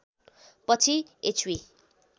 पछि एचवी